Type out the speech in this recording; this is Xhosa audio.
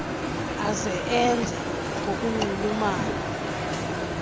aze enze ngokunxulumene